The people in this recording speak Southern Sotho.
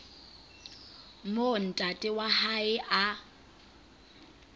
moo ntate wa hae a